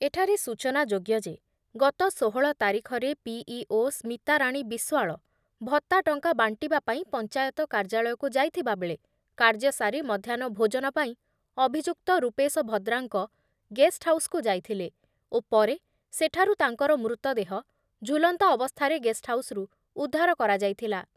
ଏଠାରେ ସୂଚନାଯୋଗ୍ୟ ଯେ, ଗତ ଷୋହଳ ତାରିଖରେ ପିଇଓ ସ୍ମିତାରାଣୀ ବିଶ୍ଵାଳ ଭତ୍ତା ଟଙ୍କା ବାଣ୍ଟିବା ପାଇଁ ପଞ୍ଚାୟତ କାର୍ଯ୍ୟାଳୟକୁ ଯାଇଥିବାବେଳେ କାର୍ଯ୍ୟସାରି ମଧ୍ୟାହ୍ନ ଭୋଜନ ପାଇଁ ଅଭିଯୁକ୍ତ ରୂପେଶ ଭଦ୍ରାଙ୍କ ଗେଷ୍ଟହାଉସକୁ ଯାଇଥିଲେ ଓ ପରେ ସେଠାରୁ ତାଙ୍କର ମୃତଦେହ ଝୁଲନ୍ତା ଅବସ୍ଥାରେ ଗେଷ୍ଟହାଉସରୁ ଉଦ୍ଧାର କରାଯାଇଥିଲା ।